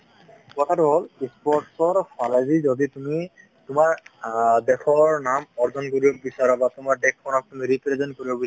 কথাটো হ'ল sports ৰ ফালেদি যদি তুমি অ তোমাৰ দেশৰ নাম অৰ্জন কৰিব বিচাৰা বা তোমাৰ দেশ খনক তুমি represent কৰিব বিচাৰা